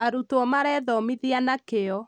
arutwo marethomithia na kĩo